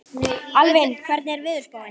Alvin, hvernig er veðurspáin?